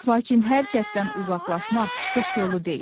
Lakin hər kəsdən uzaqlaşmaq çıxış yolu deyil.